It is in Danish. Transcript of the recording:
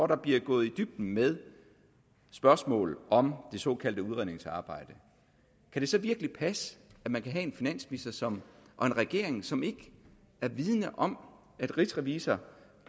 der bliver gået i dybden med spørgsmål om det såkaldte udredningsarbejde kan det så virkelig passe at man kan have en finansminister og en regering som ikke er vidende om at rigsrevisor